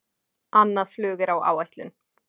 Annað flug er á áætlun